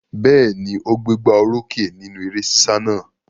Bẹ́ẹ̀ ni, ó gbégbá orókè nínú eré sísá náà.